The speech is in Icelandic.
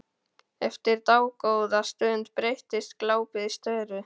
Eftir dágóða stund breytist glápið í störu.